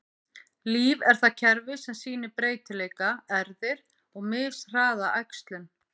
Líf er það kerfi sem sýnir breytileika, erfðir, og mishraða æxlun.